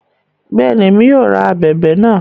Bẹẹni, Èmí yóò rá ábèbè náà